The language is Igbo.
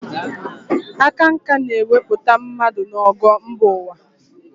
Aka nkà na-ewepụta mmadụ n'ogo mba ụwa.